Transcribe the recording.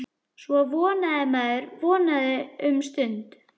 Svo vonaði maður, vonaði um stund.